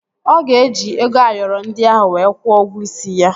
Ọ ga-eji ego Ayoro ndị ahụ wee kwuo ụgwọ isi ya